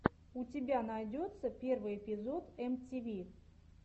у тебя найдется первый эпизод эм ти ви